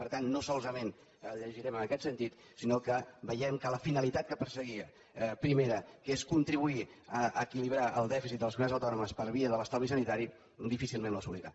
per tant no solament el llegirem en aquest sentit sinó que veiem que la finalitat primera que perseguia que era contribuir a equilibrar el dèficit de les comunitats autònomes per via de l’estalvi sanitari difícilment l’assolirà